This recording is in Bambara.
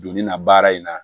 Donni na baara in na